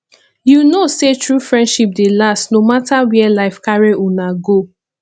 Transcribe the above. you know sey true friendship dey last no mata where life carry una go